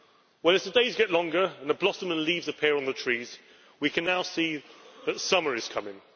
Well, as the days get longer and the blossom and leaves appear on the trees, we can now see that summer is coming.